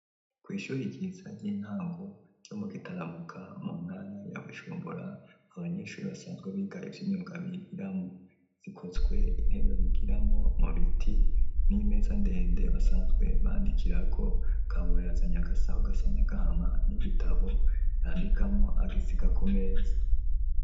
Kw’ishuri ryiza, ry'intango, ryo mu Gitaramuka, mu ntara ya Bujumbura; Abanyeshure, basanzwe biga, ivy’imyuga, bigiramwo; zikozwe, intebe bigiramwo, mu biti, n'imeza ndende, basanzwe bandikirako, Kabura yazanye agasaho, gasa n'agahama, n'igitabo yandikamwo, agisiga kumeza.